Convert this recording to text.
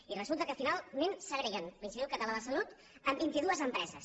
i resulta que finalment segreguen l’institut català de la salut en vint i dues empreses